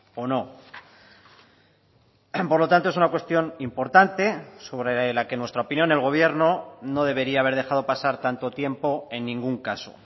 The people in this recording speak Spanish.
o no por lo tanto es una cuestión importante sobre la que en nuestra opinión el gobierno no debería haber dejado pasar tanto tiempo en ningún caso